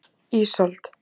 Ísold